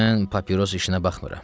Mən papiros işinə baxmıram.